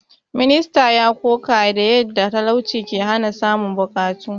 Ministan ya ƙoƙa da yadda talauci ke hana samun buƙatu.